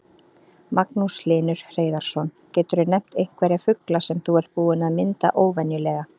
Magnús Hlynur Hreiðarsson: Geturðu nefnt einhverja fugla sem þú ert búinn að mynda óvenjulega?